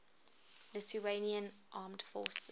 lithuanian armed forces